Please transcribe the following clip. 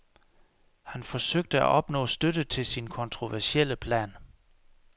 Han forsøgte at opnå støtte til sin kontroversielle plan.